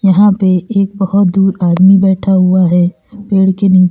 यहां पे एक बहुत दूर आदमी बैठा हुआ है पेड़ के नीचे।